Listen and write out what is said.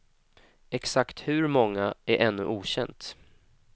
Exakt hur många är ännu okänt.